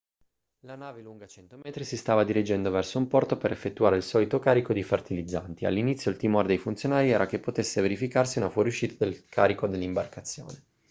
la nave lunga 100 metri si stava dirigendo verso un porto per effettuare il solito carico di fertilizzanti all'inizio il timore dei funzionari era che potesse verificarsi una fuoriuscita del carico dall'imbarcazione